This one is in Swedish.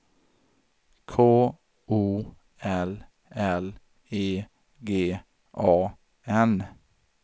K O L L E G A N